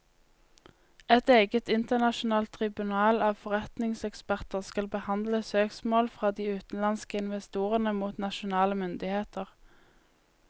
Et eget internasjonalt tribunal av forretningseksperter skal behandle søksmål fra de utenlandske investorene mot nasjonale myndigheter.